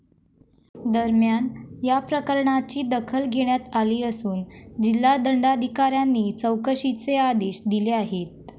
दरम्यान, या प्रकरणाची दखल घेण्यात आली असून जिल्हा दंडाधिकाऱ्यांनी चौकशीचे आदेश दिले आहेत.